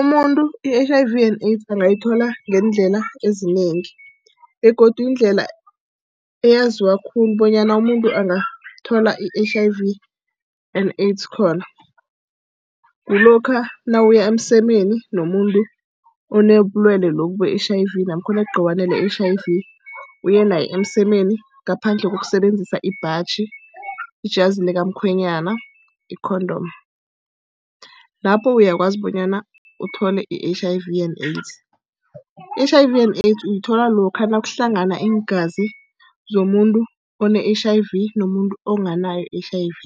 Umuntu i-H_I_V and Aids angayithola ngeendlela ezinengi, begodu indlela eyaziwa khulu bonyana umuntu angathola i-H_I_V and AIDS khona. Kulokha nawuya emsemeni nomuntu onobulwele lobu be-H_I_V namkha onegciwane le-H_I_V, uye naye emsemeni ngaphandle kokusebenzisa ibhaji, ujazi likamkhwenyana, i-condom. Lapho uyakwazi bonyana uthole i-H_I_V and AIDS. I-H_I_V and AIDS uyithola lokha nakuhlangana iingazi zomuntu one-H_I_V nomuntu onganayo i-H_I_V,